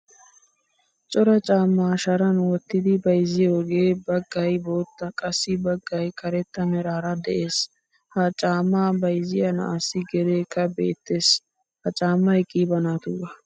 Cora caama sharan wottidi bayzziyoge baggaay boottaa qassi baggaay karetta meraara de'ees. Ha caama bayzziya na'assi gedekka beettees. Ha caamay qiiba naatuga.